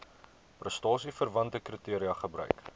prestasieverwante kriteria gebruik